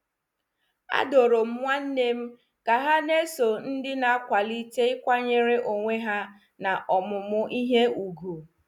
A duru m ụmụnnem ka ha na-eso ndị na-akwalite ịkwanyere onwe ha na ọmụmụ ihe ùgwù.